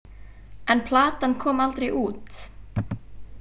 En platan kom aldrei út.